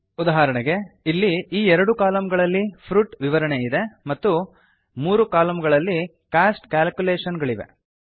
ಉದಾಹರಣೆಗೆ ಇಲ್ಲಿಈ ಎರಡು ಕಾಲಂಗಳಲ್ಲಿ ಫ್ರುಟ್ ವಿವರಣೆ ಇದೆ ಮತ್ತು ಮೂರು ಕಾಲಂಗಳಲ್ಲಿ ಕಾಸ್ಟ್ ಕ್ಯಾಲ್ಕುಲೇಷನ್ ಗಳಿವೆ